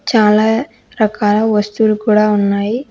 చాలా రకాల వస్తువులు కూడా ఉన్నాయి.